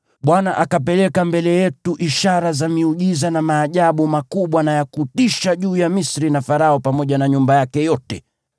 Bwana akapeleka mbele yetu ishara za miujiza na maajabu makubwa na ya kutisha mno juu ya Misri na Farao pamoja na nyumba yake yote.